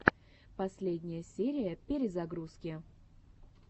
последняя серия перезагрузки